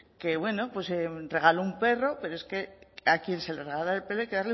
que bueno pues regalo un perro pero es que a quien se le regala el perro